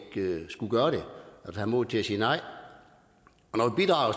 ikke har modet til at sige nej